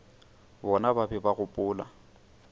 bona ba be ba gopola